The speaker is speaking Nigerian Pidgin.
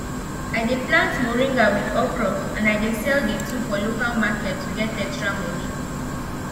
i dey plant moringa with okra and i dey sell the two for local market to get extra money